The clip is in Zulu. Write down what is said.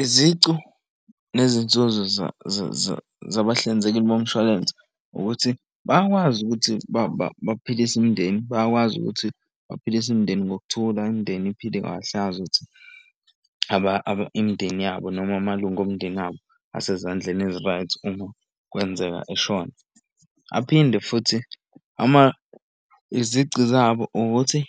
Izicu nezinzuzo zabahlinzeki bomshwalense ukuthi bayakwazi ukuthi baphilise imindeni bayakwazi ukuthi baphilise imindeni ngokuthula. Imindeni iphile kahle azi ukuthi futhi imindeni yabo noma amalunga omndeni abo asezandleni ezi-right uma kwenzeka eshona. Aphinde futhi izici zabo ukuthi